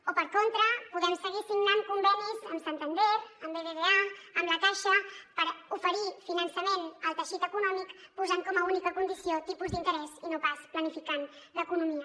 o per contra podem seguir signant convenis amb santander amb bbva amb la caixa per oferir finançament al teixit econòmic posant com a única condició el tipus d’interès i no pas planificant l’economia